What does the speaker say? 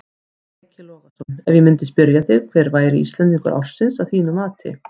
Breki Logason: Ef ég myndi spyrja þig hver væri Íslendingur ársins að þínu mati?